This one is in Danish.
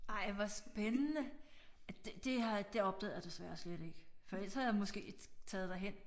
Ej hvor spændende det har det opdagede jeg desværre slet ikke for ellers havde jeg måske taget derhen